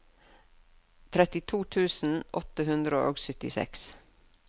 trettito tusen åtte hundre og syttiseks